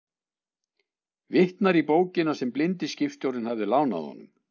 Vitnar í bókina sem blindi skipstjórinn hafði lánað honum.